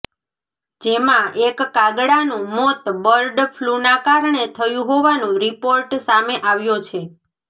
જેમાં એક કાગડાનું મોત બર્ડ ફલૂના કારણે થયું હોવાનું રિપોર્ટ સામે આવ્યો છે